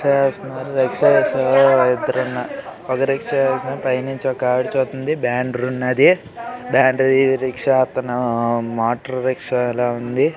Rickshaw చేస్తున్నారు రిక్షా షో ఇద్దరు ఉన్నారు. ఒక రిక్షా ఇస్తున్నారు పైనుంచి ఒక ఆవిడ చూస్తుంది. బ్యానర్ ఉన్నది బ్యానర్ రిక్షా అతను మోటార్ రిక్షా లా ఉంది.